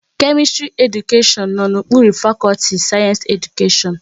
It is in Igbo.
Kemistri Edukashion no n'okpuru fakọlti Sayensi Edukashion